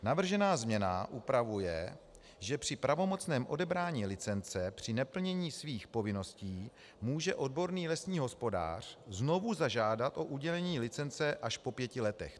Navržená změna upravuje, že při pravomocném odebrání licence při neplnění svých povinností může odborný lesní hospodář znovu zažádat o udělení licence až po pěti letech.